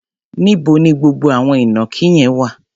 Níbo ni gbogbo àwọn ìnàkí yẹn wà?